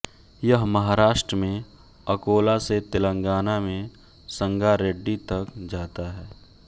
यह महाराष्ट्र में अकोला से तेलंगाना में संगारेड्डी तक जाता है